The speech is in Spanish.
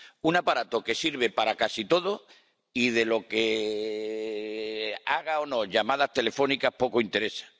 un aparato que sirve para casi todo y lo de que haga o no llamadas telefónicas poco interesa.